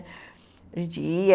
A gente ia...